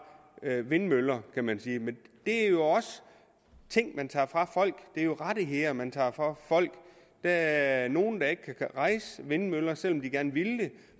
vindmøller kan man sige men det er jo også ting man tager fra folk det er rettigheder man tager fra folk der er nogle der ikke kan rejse vindmøller selv om de gerne ville